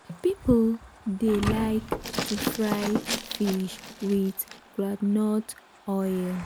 people dey like to fry fish with groundnut oil.